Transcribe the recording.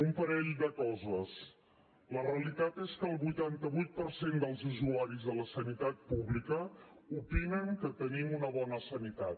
un parell de coses la realitat és que el vuitanta vuit per cent dels usuaris de la sanitat pública opinen que tenim una bona sanitat